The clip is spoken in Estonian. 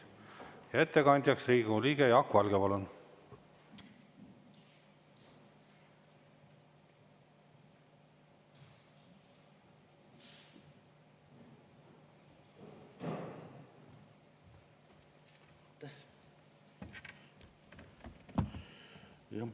Ja ettekandjaks Riigikogu liige Jaak Valge, palun!